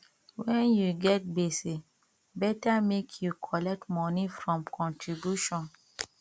wen you get gbese beta make you collect moni from contribution